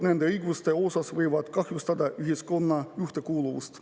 Nende õiguste piirangud võivad kahjustada ühiskonna ühtekuuluvust.